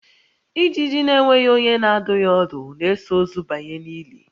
Ijiji na-enweghị onye na-adụ ya ọdụ na-eso ozu banye n'ili